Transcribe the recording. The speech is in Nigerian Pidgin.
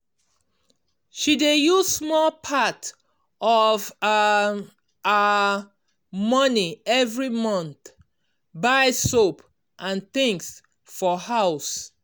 she dey use small part of um her money every month buy soap and things for house.